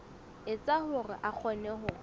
etsa hore a kgone ho